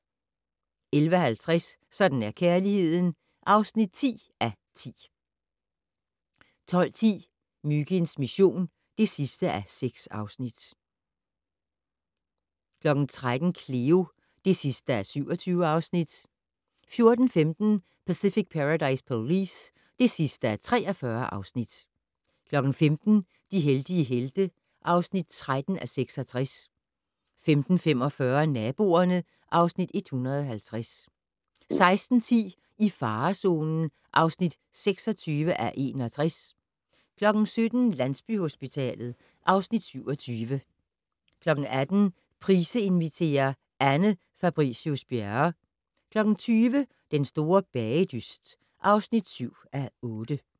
11:50: Sådan er kærligheden (10:10) 12:10: Myginds mission (6:6) 13:00: Cleo (27:27) 14:15: Pacific Paradise Police (43:43) 15:00: De heldige helte (13:66) 15:45: Naboerne (Afs. 150) 16:10: I farezonen (26:61) 17:00: Landsbyhospitalet (Afs. 27) 18:00: Price inviterer - Anne Fabricius-Bjerre 20:00: Den store bagedyst (7:8)